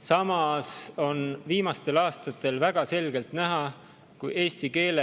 Samas on viimastel aastatel väga selgelt näha, et eesti keele